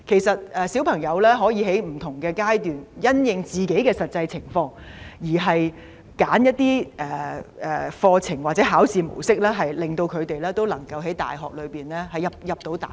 小朋友可以在不同階段因應自己的實際情況，選擇課程或考試模式，令他們能夠進入大學。